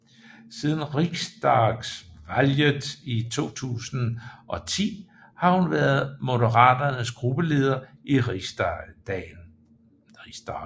Siden riksdagsvalget 2010 har hun været Moderaternas gruppeleder i Riksdagen